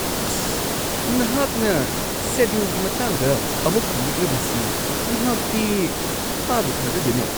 ꯑꯁ, ꯅꯍꯥꯛꯅ ꯁꯦꯗꯨꯜꯒꯤ ꯃꯇꯥꯡꯗ ꯑꯃꯨꯛ ꯍꯪꯂꯛꯂꯤꯕꯁꯤ ꯑꯩꯍꯥꯛꯇꯤ ꯊꯥꯕꯨ-ꯊꯥꯖꯗꯦꯅꯦ !